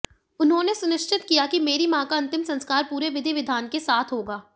उन्होंने सुनिश्चित किया कि मेरी मां का अंतिम संस्कार पूरे विधि विधान के साथ होगा